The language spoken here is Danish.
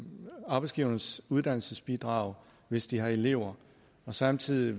arbejdsgivernes uddannelsesbidrag hvis de har elever samtidig